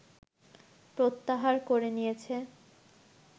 প্রত্যাহার করে নিয়েছে